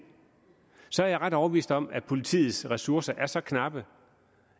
så er jeg ret overbevist om da politiets ressourcer er så knappe